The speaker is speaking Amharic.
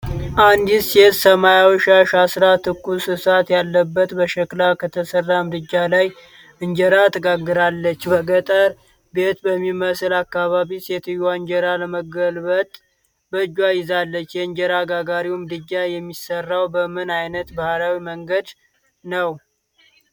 አንዲት ሴት ሰማያዊ ሻሽ አስራ፣ ትኩስ እሳት ያለበት በሸክላ ከተሰራ ምድጃ ላይ እንጀራ ትጋግራለች። በገጠር ቤት በሚመስል አካባቢ፣ ሴትየዋ እንጀራ ለመገልበጥ በእጇ ይዛለች። የእንጀራ ጋጋሪው ምድጃ የሚሠራው በምን ዓይነት ባህላዊ መንገድ ነው?